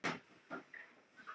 Við tökum bara það jákvæða.